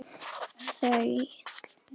Alma Þöll.